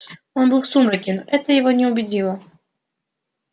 он был в сумраке но это его не убедило